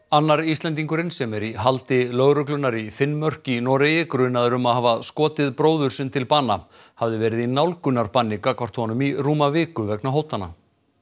annar Íslendingurinn sem er í haldi lögreglunnar í Finnmörk í Noregi grunaður um að hafa skotið bróður sinn til bana hafði verið í nálgunarbanni gagnvart honum í rúma viku vegna hótana